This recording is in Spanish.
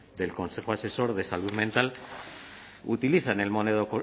del consejo asesor de salud mental utilizan